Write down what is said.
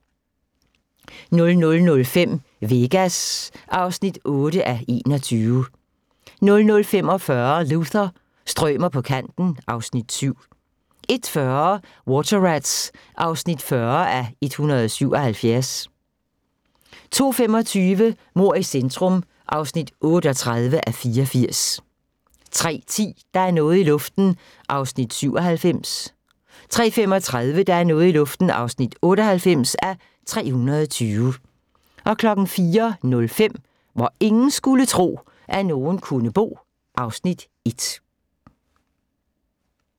00:05: Vegas (8:21) 00:45: Luther – strømer på kanten (Afs. 7) 01:40: Water Rats (40:177) 02:25: Mord i centrum (38:84) 03:10: Der er noget i luften (97:320) 03:35: Der er noget i luften (98:320) 04:05: Hvor ingen skulle tro, at nogen kunne bo (Afs. 1)